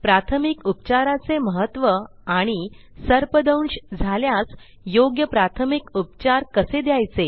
प्राथमिक उपचाराचे महत्त्व आणि सर्पदंश झाल्यास योग्य प्राथमिक उपचार कसे द्यायचे